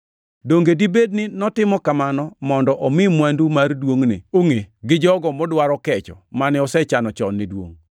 Donge dibed ni notimo kamano mondo omi mwandu mar duongʼne ongʼe gi jogo modwaro kecho mane osechano chon ne duongʼ,